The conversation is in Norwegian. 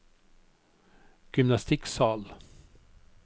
gymnastikksal